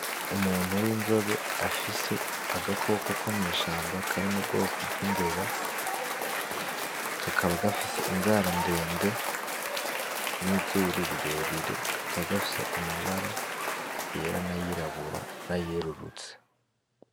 Umuntu w’inzobe afise agakoko komwishamba karimubwoko bw'imbeba kakaba gafise inzara ndende nizuru rirerire kakaba gafise amabara yera nayirabura nayerurutse.